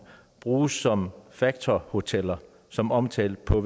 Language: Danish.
bruges som facto hoteller som omtalt på